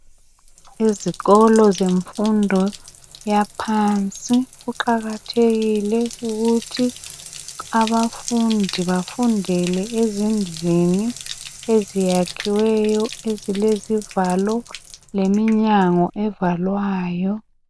Ezikolo zemfundo yaphansi kuqakathekile ukuthi abafundi bafundele ezindlini eziyakhiweyo ezilezivalo leminyango evalwayo